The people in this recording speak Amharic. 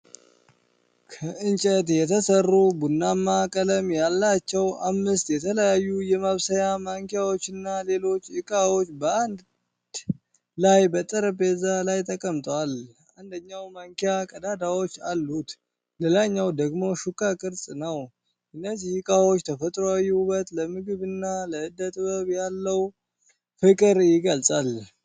ከእንጨት የተሠሩ፣ ቡናማ ቀለም ያላቸው አምስት የተለያዩ የማብሰያ ማንኪያዎችና ሌሎች ዕቃዎች በአንድ ላይ በጠረጴዛ ላይ ተቀምጠዋል። አንደኛው ማንኪያ ቀዳዳዎች አሉት፤ ሌላኛው ደግሞ ሹካ ቅርጽ ነው። የእነዚህ ዕቃዎች ተፈጥሯዊ ውበት ለምግብና ለዕደ ጥበብ ያለውን ፍቅር ይገልፃል።